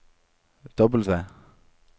W